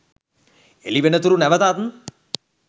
එළිවෙනතුරු නැවතත්